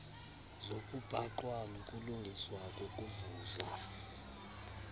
zokubhaqwa nokulungiswa kokuvuza